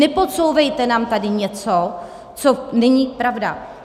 Nepodsouvejte nám tady něco, co není pravda.